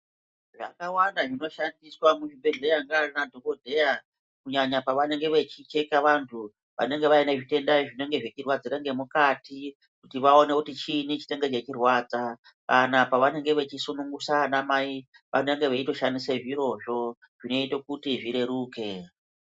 Zvakawanda zvinoshandiswa muzvibhedhleya ngeanadhokodheya, kunyanya pavanenge vechicheka vanhu, vanenge vaine zvitenda zvinenge zvichirwadzira ngemukati, kuti vaone kuti chiini chinenge chichirwadza, kana pavanenge vechisunungusa anamai ,vanenge veitoshandise zvirozvo, zvinoite kuti zvireruke.